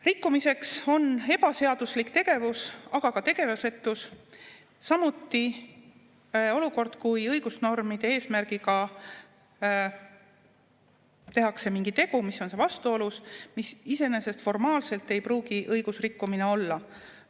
Rikkumiseks on ebaseaduslik tegevus, aga ka tegevusetus, samuti olukord, kui tehakse mingi tegu, mis on õigusnormide eesmärgiga vastuolus, aga mis iseenesest formaalselt ei pruugi õigusrikkumine olla.